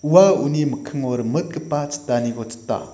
ua uni mikkingo rimitgipa chitaniko chita .